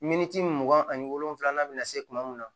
Miniti mugan ani wolonwula bɛna se kuma mun ma